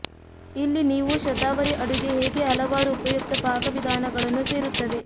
ಇಲ್ಲಿ ನೀವು ಶತಾವರಿ ಅಡುಗೆ ಹೇಗೆ ಹಲವಾರು ಉಪಯುಕ್ತ ಪಾಕವಿಧಾನಗಳನ್ನು ಸೇರುತ್ತವೆ